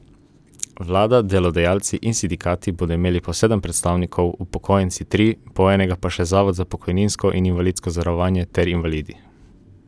Vlada, delodajalci in sindikati bodo imeli po sedem predstavnikov, upokojenci tri, po enega pa še zavod za pokojninsko in invalidsko zavarovanje ter invalidi.